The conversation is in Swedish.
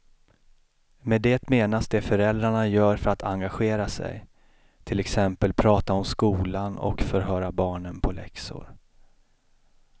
Med det menas det föräldrarna gör för att engagera sig, till exempel prata om skolan och förhöra barnen på läxor.